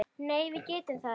Nei það getum við ekki.